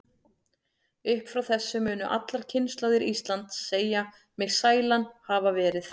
Upp frá þessu munu allar kynslóðir Íslands segja mig sælan hafa verið.